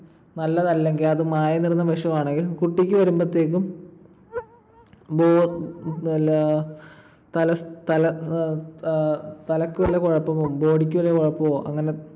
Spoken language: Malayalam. നല്ലതല്ലെങ്കിൽ അത് മായം കലർന്ന ഭക്ഷണം ആണെങ്കിൽ കുട്ടിക്ക് വരുമ്പഴത്തേക്കും വല്ല തല ~ തല അഹ് തലയ്ക്കു വല്ല കുഴപ്പമോ body ക്കു വല്ല കുഴപ്പമോ